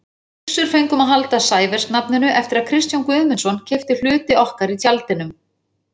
Við Gissur fengum að halda Sævers-nafninu eftir að Kristján Guðmundsson keypti hluti okkar í Tjaldinum.